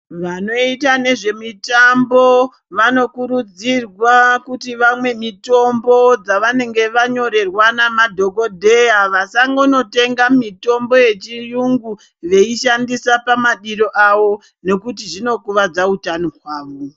Vanoita nezvemitambo vanokurudzirwa kuti vamwe mitombo dzavanenge vanyorerwa namadhokodheya vasangotenga mitombo yechirungu veishandisa pamadiro awo nekuti zvinokuwadza hutano hwavo.